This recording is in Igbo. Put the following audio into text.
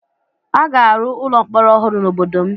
A ga-arụ ụlọ mkpọrọ ọhụrụ n'obodo m